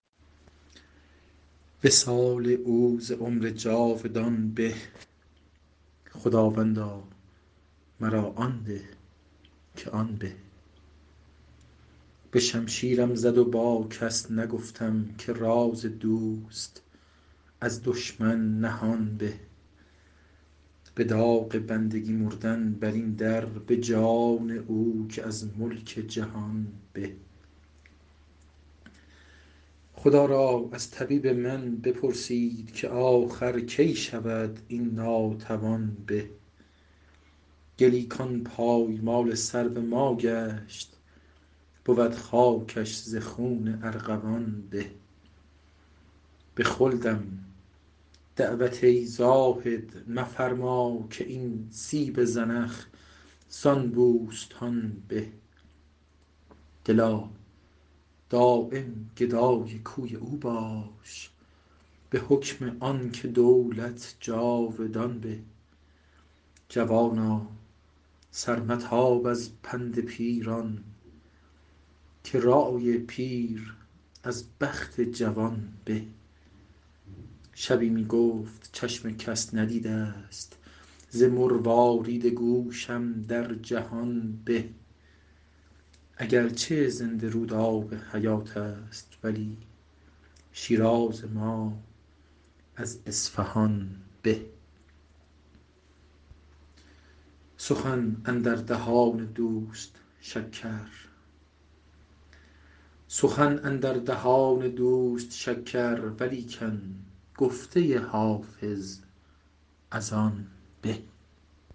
وصال او ز عمر جاودان به خداوندا مرا آن ده که آن به به شمشیرم زد و با کس نگفتم که راز دوست از دشمن نهان به به داغ بندگی مردن بر این در به جان او که از ملک جهان به خدا را از طبیب من بپرسید که آخر کی شود این ناتوان به گلی کان پایمال سرو ما گشت بود خاکش ز خون ارغوان به به خلدم دعوت ای زاهد مفرما که این سیب زنخ زان بوستان به دلا دایم گدای کوی او باش به حکم آن که دولت جاودان به جوانا سر متاب از پند پیران که رای پیر از بخت جوان به شبی می گفت چشم کس ندیده ست ز مروارید گوشم در جهان به اگر چه زنده رود آب حیات است ولی شیراز ما از اصفهان به سخن اندر دهان دوست شکر ولیکن گفته حافظ از آن به